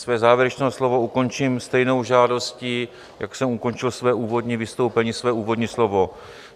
Své závěrečné slovo ukončím stejnou žádostí, jak jsem ukončil své úvodní vystoupení, své úvodní slovo.